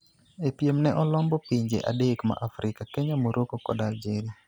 E piem ne olombo pinje adek ma Afrika Kenya, Morrocco kod Algeria